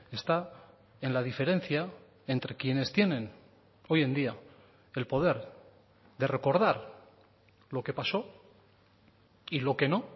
está en la diferencia entre quienes tienen hoy en día el poder de recordar lo que pasó y lo que no